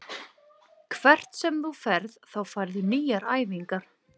Hvert sem þú ferð þá færðu nýjar æfingar.